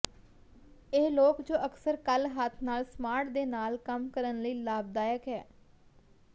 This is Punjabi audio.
ਇਹ ਲੋਕ ਜੋ ਅਕਸਰ ਕੱਲ ਹੱਥ ਨਾਲ ਸਮਾਰਟ ਦੇ ਨਾਲ ਕੰਮ ਕਰਨ ਲਈ ਲਾਭਦਾਇਕ ਹੈ